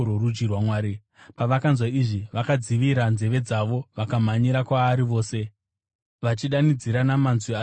Pavakanzwa izvi vakadzivira nzeve dzavo vakamhanyira kwaari vose, vachidanidzira namanzwi ari pamusoro-soro,